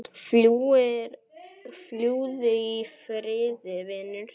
Fljúgðu í friði vinur.